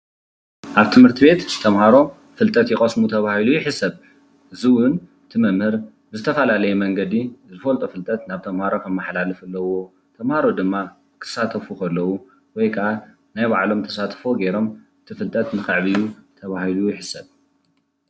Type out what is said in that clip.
ኣብ ትምህርት ቤት ተምሃሮ ፍልጠት ይቐስሙ ተባሂሉ ይሕሰብ። እዚ እዉን እቲ መምህር ብዝተፈላለየ መንገዲ ዝፈልጦ ፍልጠት ናብ ተምሃሮ ከመሓላልፍ ኣለዎ። ተምሃሮ ድማ ክሳተፉ ከለዉ ወይ ከዓ ናይ ባዕሎም ተሳትፎ ጌሮም እቲ ፍልጠት ንኸዕብዩ ተባሂሉ ይሕሰብ።